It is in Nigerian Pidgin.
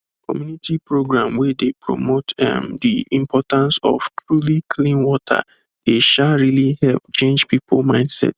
community program wey dey promote um the importance of truly clean water dey um really help change people mindset